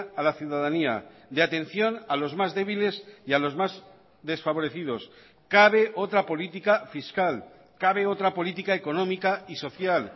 a la ciudadanía de atención a los más débiles y a los más desfavorecidos cabe otra política fiscal cabe otra política económica y social